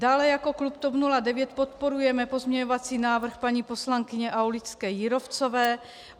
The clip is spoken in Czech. Dále jako klub TOP 09 podporujeme pozměňovací návrhy paní poslankyně Aulické-Jírovcové.